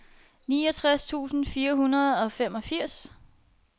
niogtres tusind fire hundrede og femogfirs